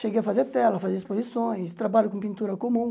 Cheguei a fazer tela, fazer exposições, trabalho com pintura comum.